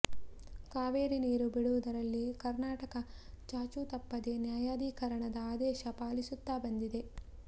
ಕಾವೇರಿ ನೀರು ಬಿಡುವುದರಲ್ಲಿ ಕರ್ನಾಟಕ ಚಾಚೂ ತಪ್ಪದೆ ನ್ಯಾಯಾಧಿಕರಣದ ಆದೇಶ ಪಾಲಿಸುತ್ತಾ ಬಂದಿದೆ